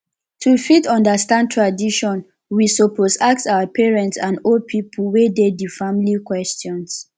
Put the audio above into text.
to fit understand tradition we suppose ask our parents and old pipo wey de di family questions